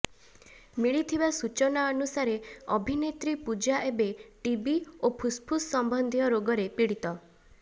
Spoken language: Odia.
ମିଳିଥିବା ସୂଚନା ଅନୁସାରେ ଅଭିନେତ୍ରୀ ପୂଜା ଏବେ ଟିବି ଓ ଫୁସ୍ଫୁସ୍ ସମ୍ୱନ୍ଧିୟ ରୋଗରେ ପୀଡ଼ିତ